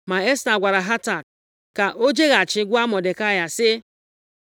Ma Esta gwara Hatak ka o jeghachi gwa Mọdekai sị,